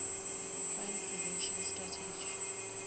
crime prevention strategy